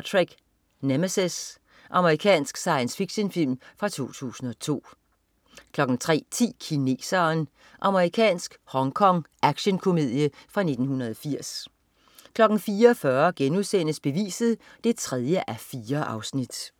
Trek: Nemesis. Amerikansk science fiction-film 2002 03.10 Kineseren. Amerikansk /hongkong actionkomedie fra 1980 04.40 Beviset 3:4*